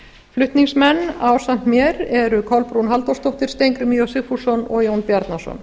flutningsmenn ásamt mér eru kolbrún halldórsdóttir steingrímur j sigfússon og jón bjarnason